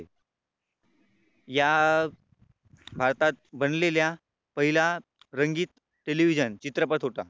या भारतात बनलेल्या पहिला रंगीत Television चित्रपट होता.